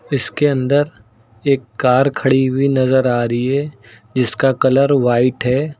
इसके अंदर एक कार खड़ी हुई नजर आ रही है जिसका कलर व्हाइट है।